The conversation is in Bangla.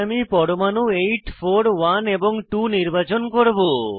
তাই আমি পরমাণু 8 4 1 এবং 2 নির্বাচন করব